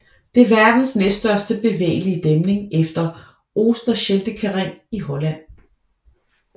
Det er verdens næststørste bevægelige dæmning efter Oosterscheldekering i Holland